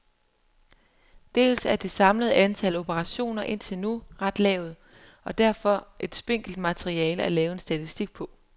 Dels er det samlede antal operationer indtil nu ret lavt og derfor er et spinkelt materiale at lave statistik på.